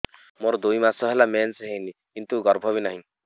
ମୋର ଦୁଇ ମାସ ହେଲା ମେନ୍ସ ହେଇନି କିନ୍ତୁ ଗର୍ଭ ବି ନାହିଁ